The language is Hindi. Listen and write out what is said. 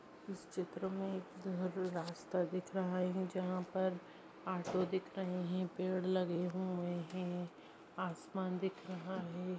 इस चित्र मे एक अह रास्ता दिख रहा है जहाँ पर ऑटो दिख रहे है पेड़ लगे हुए है आसमान दिख रहा है।